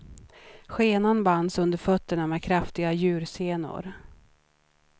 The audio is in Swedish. Skenan bands under fötterna med kraftiga djursenor.